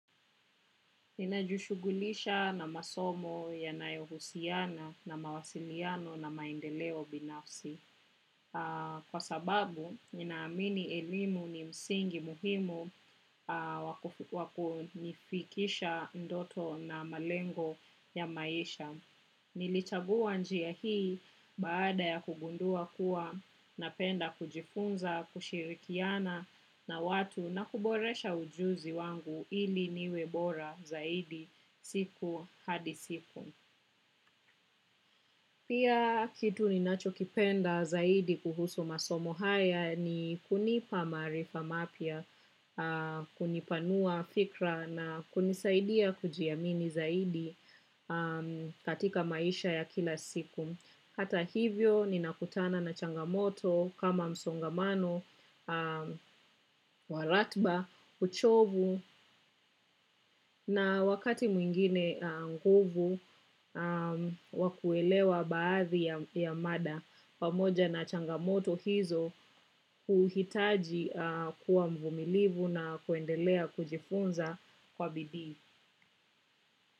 Ninajushugulisha na masomo yanayohusiana na mawasiliano na maendeleo binafsi. Kwa sababu, ninaamini elimu ni msingi muhimu wakunifikisha ndoto na malengo ya maisha. Nilichagua njia hii baada ya kugundua kuwa napenda kujifunza kushirikiana na watu na kuboresha ujuzi wangu ili niwe bora zaidi siku hadi siku. Pia kitu ni nacho kipenda zaidi kuhusu masomo haya ni kunipa maarifa mapya, kunipanua fikra na kunisaidia kujiamini zaidi katika maisha ya kila siku. Hata hivyo ninakutana na changamoto kama msongamano, waratba, uchovu na wakati mwingine nguvu wa kuelewa baadhi ya mada. Pamoja na changamoto hizo kuhitaji kuwa mvumilivu na kuendelea kujifunza kwa bidii.